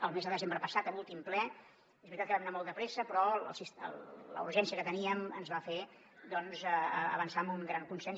el mes de desembre passat a l’últim ple és veritat que vam anar molt de pressa però la urgència que teníem ens va fer avançar en un gran consens